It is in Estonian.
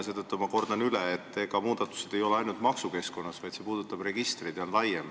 Seetõttu ma kordan üle, et muudatusi ei tehta ainult maksukeskkonnas, vaid see puudutab ka registreid, need on laiemad.